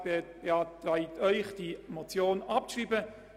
Der Regierungsrat beantragt Ihnen die Abschreibung der Motion.